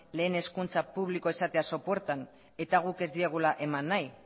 lehen hezkuntza publikoa izatea sopuertan eta guk ez diegula eman nahi